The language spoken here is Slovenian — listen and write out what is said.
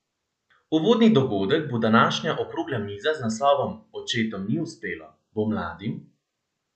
Uvodni dogodek bo današnja okrogla miza z naslovom Očetom ni uspelo, bo mladim?